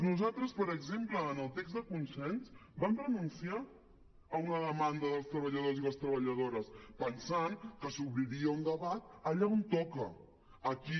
nosaltres per exemple en el text de consens vam renunciar a una demanda dels treballadors i les treballadores pensant que s’obriria un debat allà on toca aquí